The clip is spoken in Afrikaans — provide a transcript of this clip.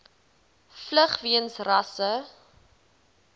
vlug weens rasse